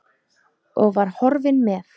Og var horfinn með.